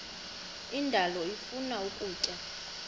indalo ifuna ukutya